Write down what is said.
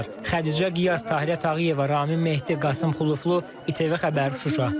Xədicə Qiyas, Tahirə Tağıyeva, Ramin Mehdi, Qasım Xuluflu, İTV Xəbər, Şuşa.